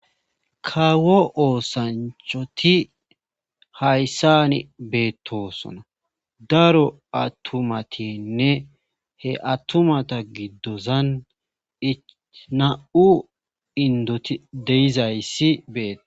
kawo oosanchoti hayssan beettosona daro attumatinne he attumata giddozan nam7u indoti deizayssi bee7os